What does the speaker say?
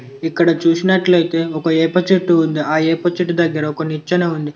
ఇక్కడ చూసినట్లయితే ఒక ఏప చెట్టు ఉంది. ఆ ఏప చెట్టు దగ్గర ఒక నిచ్చెన ఉంది.